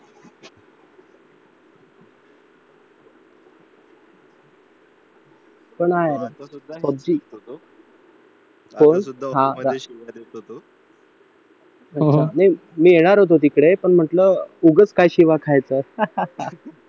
मी येणार होतो तिकडे पण म्हटलं काय उगाच शिव्या खायच्या